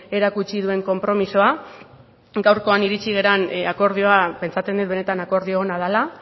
erakutsi duen konpromisoa gaurkoan iritsi garen akordioa pentsatzen dut benetan akordio ona dela